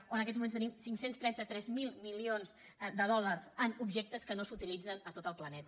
o en aquests moments tenim cinc cents i trenta tres mil milions de dòlars en objectes que no s’utilitzen a tot el pla·neta